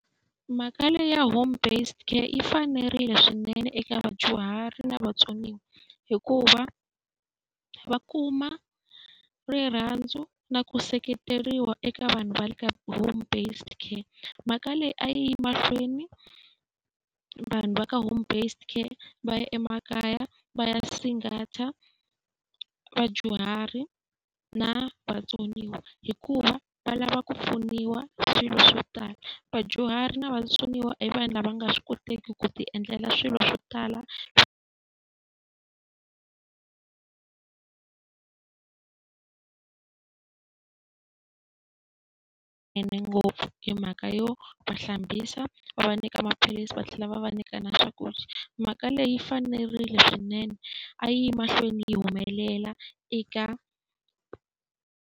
Mhaka leyi ya home-based care yi fanerile swinene eka vadyuhari na vatsoniwa, hikuva va kuma rirhandzu na ku seketeriwa eka vanhu va le ka home-based care. Mhaka leyi a yi emahlweni, vanhu va ka home-based care va ya emakaya va ya vadyuhari na vatsoniwa, hikuva va lava ku pfuniwa ka swilo swo tala. Vadyuhari na vatsoniwa i vanhu lava nga swi koteki ku ti endlela swilo swo tala ene ngopfu hi mhaka yo va hlambisa, va va nyika maphilisi, va tlhela va va nyika na swakudya. Mhaka leyi yi fanerile swinene, a yi ye mahlweni yi humelela eka.